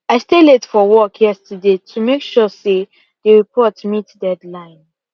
i stay late for work yesterday to make sure say the report meet deadline